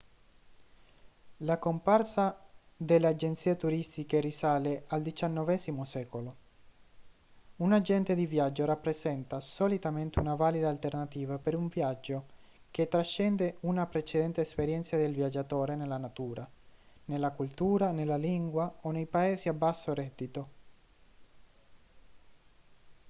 la comparsa delle agenzie turistiche risale al xix secolo un agente di viaggio rappresenta solitamente una valida alternativa per un viaggio che trascende una precedente esperienza del viaggiatore nella natura nella cultura nella lingua o nei paesi a basso reddito